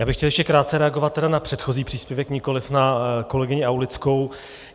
Já bych chtěl ještě krátce reagovat na předchozí příspěvek, nikoliv na kolegyni Aulickou.